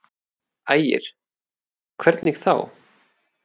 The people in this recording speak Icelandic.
Ægir: Hvernig þá?